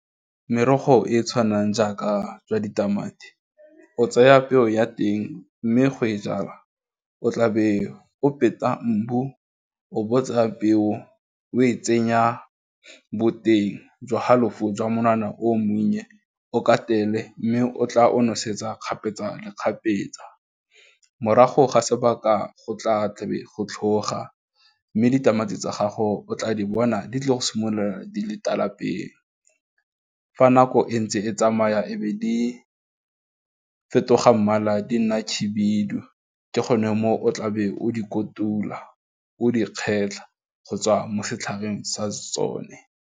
Merogo e e tshwanang jaaka jwa ditamati, o tseya peo ya teng mme go e jala, o tlabe o peta mbu, o botsa peo o e tsenya boteng jwa halofo jwa monwana o monnye, o ka katele, mme o tla o nosetsa kgapetsa le kgapetsa, morago ga sebaka go tla go tlhoga mme ditamati tsa gago o tla di bona di tle go simolola di le tala pele, fa nako e ntse e tsamaya e be di fetoga mmala di nna khibidu, ke gone mo o tlabe o di kotula o di kgetlha go tswa mo setlhareng sa tsone.